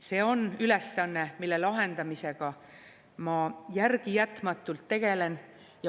See on ülesanne, mille lahendamisega ma järelejätmatult tegelen.